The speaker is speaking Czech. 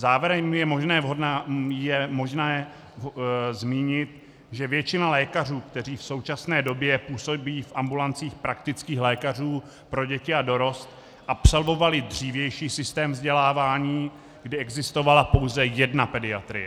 Závěrem je možné zmínit, že většina lékařů, kteří v současné době působí v ambulancích praktických lékařů pro děti a dorost, absolvovala dřívější systém vzdělávání, kdy existovala pouze jedna pediatrie.